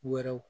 Wɛrɛw